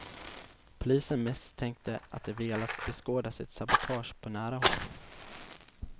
Polisen misstänkte att de velat beskåda sitt sabotage på nära håll.